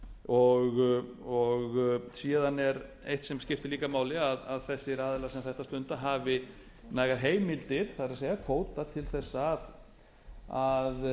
þessar rannsóknir síðan er eitt sem skiptir líka máli að þessir aðilar sem þetta stunda hafi nægar heimildir það er kvóta til að